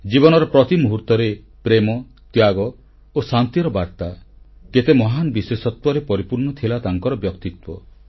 ଜୀବନର ପ୍ରତି ମୁହୂର୍ତ୍ତରେ ପ୍ରେମ ତ୍ୟାଗ ଓ ଶାନ୍ତିର ବାର୍ତ୍ତା ଦେଇଥିଲେ କେତେ ମହାନ ବିଶେଷତ୍ୱରେ ପରିପୂର୍ଣ୍ଣ ଥିଲା ତାଙ୍କର ବ୍ୟକ୍ତିତ୍ୱ